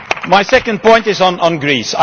My second point is on Greece.